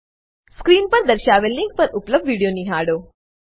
screen પર દર્શાવેલ link પર ઉપલબ્ધ વિડીયો નિહાળો